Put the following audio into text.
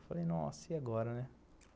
Eu falei, nossa, e agora, né?